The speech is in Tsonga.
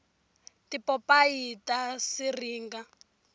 tipopayi ta siringa